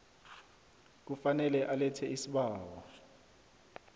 kufanele alethe isibawo